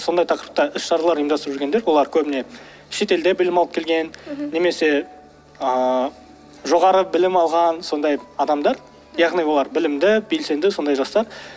сондай тақырыпта іс шаралар ұйымдастырып жүргендер олар көбіне шетелде білім алып келген немесе ыыы жоғары білім алған сондай адамдар яғни олар білімді белсенді сондай жастар